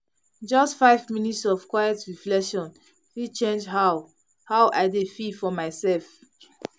just five minutes of quiet reflection fit change how how i dey feel for my self